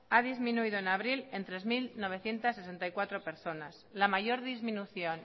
ha disminuido en abril en tres mil novecientos sesenta y cuatro personas la mayor disminución